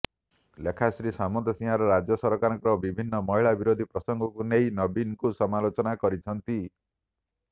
ଲେଖାଶ୍ରୀ ସାମନ୍ତସିଂହାର ରାଜ୍ୟ ସରକାରଙ୍କ ବିଭିନ୍ନ ମହିଳା ବିରୋଧୀ ପ୍ରସଙ୍ଗକୁ ନେଇ ନବୀନଙ୍କୁ ସମାଲୋଚନା କରିଛନ୍ତି